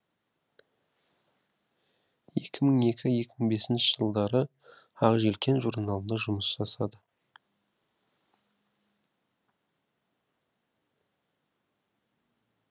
екі мың екі екі мың бесінші жылдары ақ желкен журналында жұмыс жасады